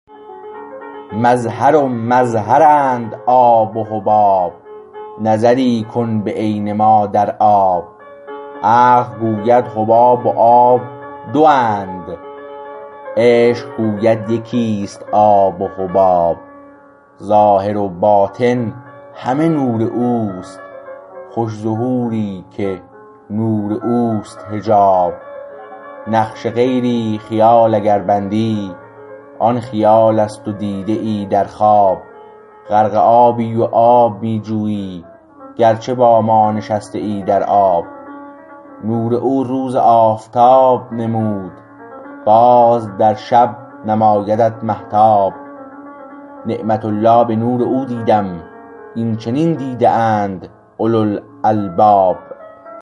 مظهر و مظهرند آب و حباب نظری کن به عین ما در آب عقل گوید حباب و آب دو اند عشق گوید یکیست آب و حباب ظاهر و باطن همه نور است خوش ظهوری که نور اوست حجاب نقش غیری خیال اگر بندی آن خیال است و دیده ای در خواب غرق آبی و آب می جویی گرچه با ما نشسته ای در آب نور او روز آفتاب نمود باز در شب نمایدت مهتاب نعمت الله به نور او دیدم این چنین دیده اند اولوالالباب